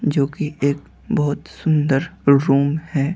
जोकि एक बहुत सुंदर रूम है।